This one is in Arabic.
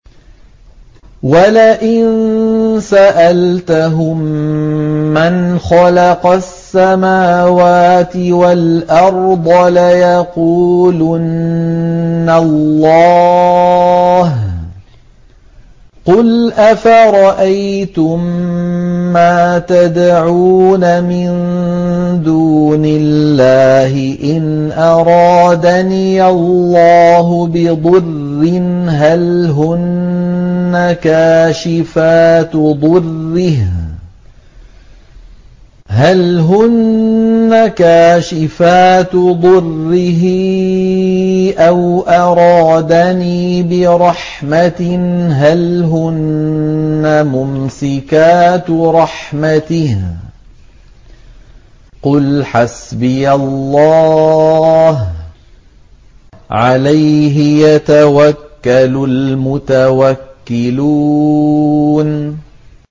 وَلَئِن سَأَلْتَهُم مَّنْ خَلَقَ السَّمَاوَاتِ وَالْأَرْضَ لَيَقُولُنَّ اللَّهُ ۚ قُلْ أَفَرَأَيْتُم مَّا تَدْعُونَ مِن دُونِ اللَّهِ إِنْ أَرَادَنِيَ اللَّهُ بِضُرٍّ هَلْ هُنَّ كَاشِفَاتُ ضُرِّهِ أَوْ أَرَادَنِي بِرَحْمَةٍ هَلْ هُنَّ مُمْسِكَاتُ رَحْمَتِهِ ۚ قُلْ حَسْبِيَ اللَّهُ ۖ عَلَيْهِ يَتَوَكَّلُ الْمُتَوَكِّلُونَ